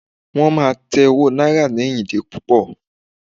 wán ma tẹ owó náírà ni ìyíde pupo